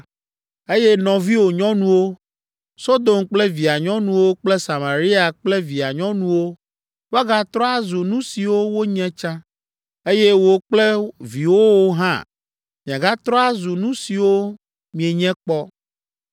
Eye nɔviwò nyɔnuwo, Sodom kple via nyɔnuwo kple Samaria kple via nyɔnuwo woagatrɔ azu nu siwo wonye tsã, eye wò kple viwòwo hã miagatrɔ azu nu siwo mienye kpɔ.